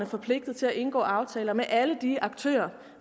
forpligtet til at indgå aftaler med alle de aktører